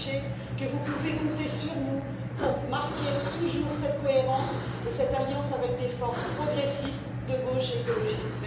Sachez que vous pouvez compter sur nous pour marquer toujours cette cohérence et cette alliance avec des forces progressistes de gauche et écologistes.